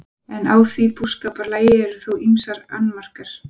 En á því búskaparlagi eru þó ýmsir annmarkar.